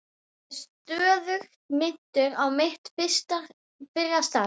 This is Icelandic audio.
Ég er stöðugt minntur á mitt fyrra starf.